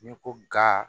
N'i ko ga